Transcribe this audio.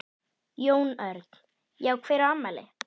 Jón Örn: Já hver á afmæli?